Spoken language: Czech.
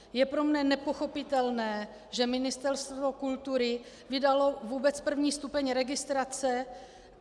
Je pro mne nepochopitelné, že Ministerstvo kultury vydalo vůbec první stupeň registrace.